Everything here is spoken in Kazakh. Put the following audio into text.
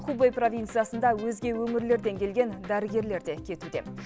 хубэй провинциясында өзге өңірлерден келген дәрігерлер де кетуде